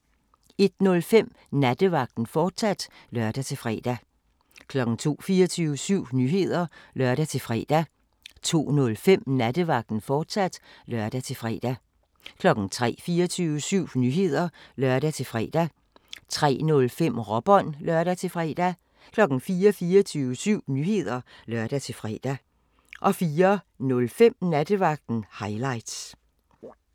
01:05: Nattevagten, fortsat (lør-fre) 02:00: 24syv Nyheder (lør-fre) 02:05: Nattevagten, fortsat (lør-fre) 03:00: 24syv Nyheder (lør-fre) 03:05: Råbånd (lør-fre) 04:00: 24syv Nyheder (lør-fre) 04:05: Nattevagten – highlights